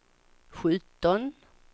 sjutton